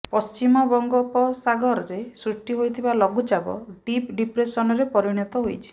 ପଶ୍ଚିମବଙ୍ଗୋପସାଗରରେ ସୃଷ୍ଟି ହୋଇଥିବା ଲଘୁଚାପ ଡିପ୍ ଡିପ୍ରେସନରେ ପରିଣତ ହୋଇଛି